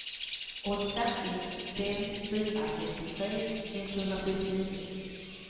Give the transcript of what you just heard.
åtta ett fem fyra sextiotre etthundrasjuttionio